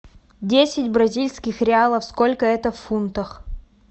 десять бразильских реалов сколько это в фунтах